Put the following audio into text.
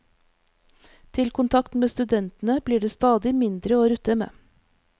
Til kontakt med studentene blir det stadig mindre å rutte med.